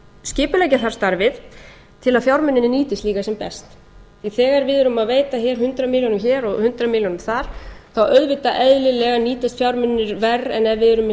skipuleggja þarf starfið svo að fjármunirnir nýtist líka sem best því að þegar við erum að veita hér hundrað milljónir hér og hundrað milljónir þar þá auðvitað eðlilega nýtast fjármunirnir verr en ef við erum með